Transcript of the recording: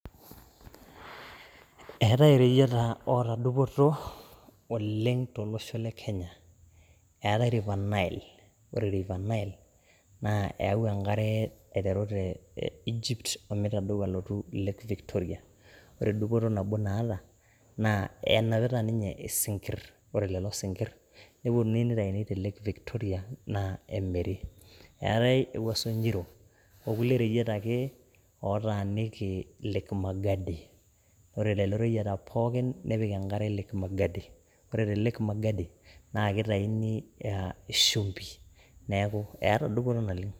Eetai reyieta oota dupoto oleng to losho le Kenya, eatai River Nile, ore river Nile naa eyau enkare aitaru te Egypt omeitedeu alotu lake Victoria, ore dupoto nabo naata naa enapita ninye esinkirr, ore lelo sinkirr neponii neitaini te lake Victoria naa emiri, eatai ewuaso nyiro okule reyieta ake otaaniki lake Magadi, ore lelo reyieta pookin nepik enkare lake Magadi, ore te lake Magadi naa keitaini ishumpi neaku eata dupoto naleng.